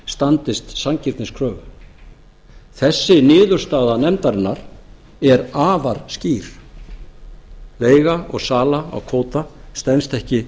standist sanngirniskröfu þessi niðurstaða nefndarinnar er afar skýr leiga og sala á kvóta stenst ekki sanngirniskröfur